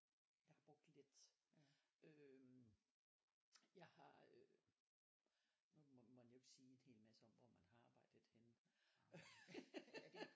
Jeg har brugt lidt øh jeg har øh nu må man jo ikke sige en hel masse om hvor man har arbejdet henne øh